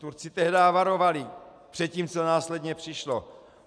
Turci tehdy varovali před tím, co následně přišlo.